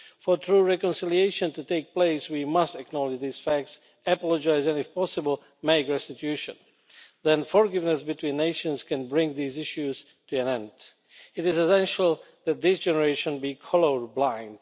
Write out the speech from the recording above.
For true reconciliation to take place, we must acknowledge these facts, apologise and if possible make restitution, then forgiveness between nations can bring these issues to an end. It is essential that this generation be colour blind.